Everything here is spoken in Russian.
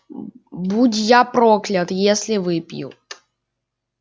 будь я проклят если выпью